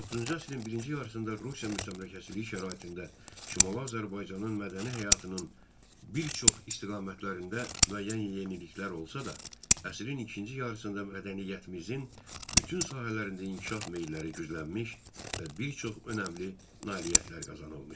19-cu əsrin birinci yarısında Rusiya müstəmləkəçiliyi şəraitində Şimali Azərbaycanın mədəni həyatının bir çox istiqamətlərində müəyyən yeniliklər olsa da, əsrin ikinci yarısında mədəniyyətimizin bütün sahələrində inkişaf meyilləri güclənmiş və bir çox önəmli nailiyyətlər qazanılmışdı.